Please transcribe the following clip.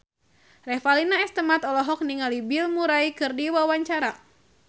Revalina S. Temat olohok ningali Bill Murray keur diwawancara